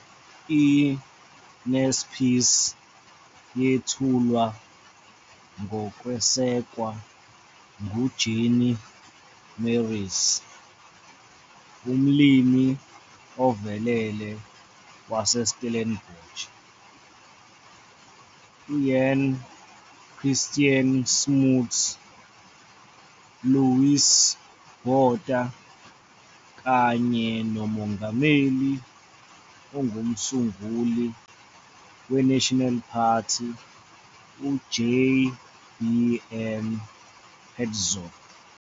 I-Naspers yethulwa ngokwesekwa nguJannie Marais, umlimi ovelele waseStellenbosch, Jan Christiaan Smuts, Louis Botha, kanye nomongameli ongumsunguli we-National Party u- JBM Hertzog.